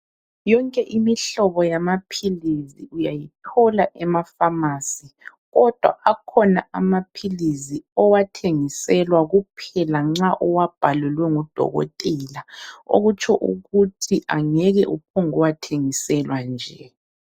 Yonke imihlobo yamaphilisi uyayithola emapharmacy ,kodwa akhona amaphilizi owathengiselwa kuphela nxa uwabhalelwe ngudokotela okutsho ukuthi angeke uphambukuwathengiselwa nje.